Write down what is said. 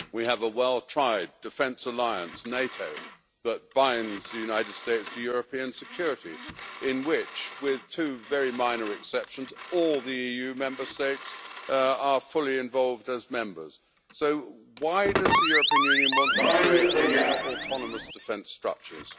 We have a well tried defence alliance, NATO, which binds the United States to European security and in which, with two very minor exceptions, all the EU Member States are fully involved as members. So why does the European Union want to create autonomous defence structures?